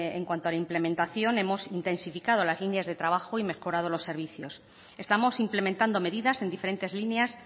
en cuanto a la implementación hemos intensificado las líneas de trabajo y mejorado los servicios estamos implementando medidas en diferentes líneas